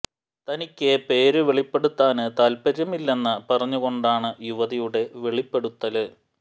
തനിക്ക് പേര് വെളിപ്പെടുത്താന് താത്പര്യമില്ലെന്ന് പറഞ്ഞു കൊണ്ടാണ് യുവതിയുടെ വെളിപ്പെടുത്തല്